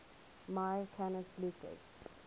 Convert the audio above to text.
mya canis lupus